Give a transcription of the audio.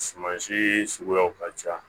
Suman sii suguyaw ka ca